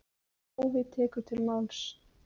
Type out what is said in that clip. Páfi tekur til máls.